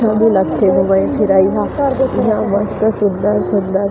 --ठ बुलकथे घुमाई फिराई हा एहा मस्त सुन्दर-सुन्दर--